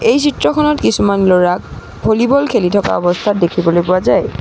এই চিত্ৰখনত কিছুমান ল'ৰাক ভলিবল খেলি থকা অৱস্থাত দেখিবলৈ পোৱা যায়।